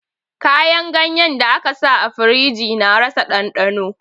Kayan ganyen da aka sa a firiji na rasa ɗandano